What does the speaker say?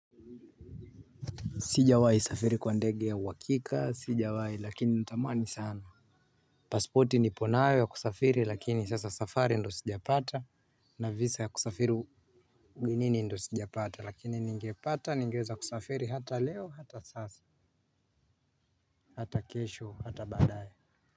Sijawai safiri kwa ndege ya wakika, sijawai lakini natamani sana. Pasporti ni ponayo ya kusafiri lakini sasa safari ndo sijapata na visa ya kusafiri ugenini ndo sijapata lakini ningepata ningeza kusafiri hata leo hata sasa hata kesho hata badaye.